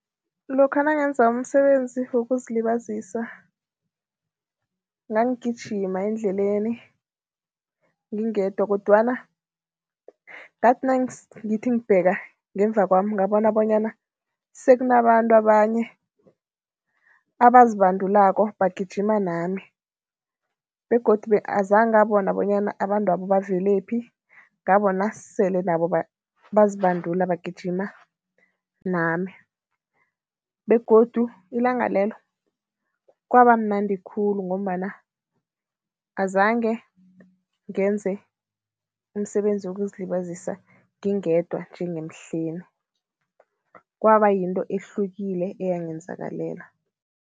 Lokha nangenza umsebenzi wokuzilibazisa, nangigijima endleleni ngingedwa kodwana ngathi nangithi ngibheka ngemva kwami, ngabona bonyana sekunabantu abanye abazibandulako, bagijima nami begodu azange ngabona bonyana abantwabo bavelaphi. Ngabona sele nabo bazibandula bagijima nami begodu ilanga lelo, kwabamnandi khulu ngombana azange ngenze umsebenzi wokuzilibazisa ngingedwa njengemhleni, kwaba yinto ehlukile eyangenzakalela.